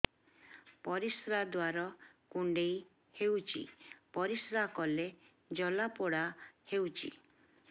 ପରିଶ୍ରା ଦ୍ୱାର କୁଣ୍ଡେଇ ହେଉଚି ପରିଶ୍ରା କଲେ ଜଳାପୋଡା ହେଉଛି